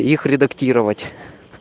их редактировать